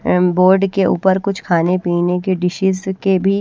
अ board के ऊपर कुछ खाने पीने के डिशेस के भी--